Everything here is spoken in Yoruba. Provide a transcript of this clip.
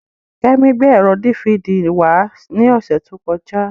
Kẹ́mi gbé ẹ̀rọ dífidì wá ní ọ̀sẹ̀ tó kọjá.